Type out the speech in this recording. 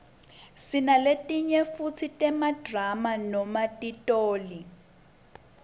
sinaletinye futsi temadrama noma titoli